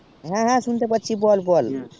হ্যা হ্যা শুনতে পাচ্ছি বল বল